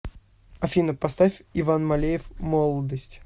афина поставь иван малеев молодость